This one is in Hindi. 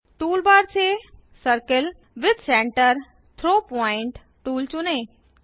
टूलबार से circle with centre through point tool चुनें